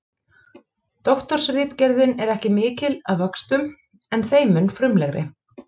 Doktorsritgerðin er ekki mikil að vöxtum en þeim mun frumlegri.